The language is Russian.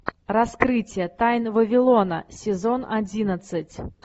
раскрытие тайн вавилона сезон одиннадцать